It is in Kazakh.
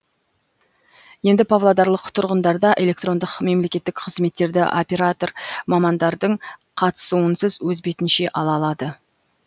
енді павлодарлық тұрғындарда электрондық мемлекеттік қызметтерді оператор мамандардың қатысуынсыз өз бетінше ала алады